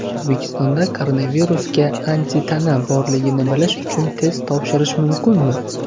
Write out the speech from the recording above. O‘zbekistonda koronavirusga antitana borligini bilish uchun test topshirish mumkinmi?